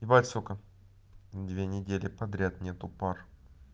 ебать сука две недели подряд нету пар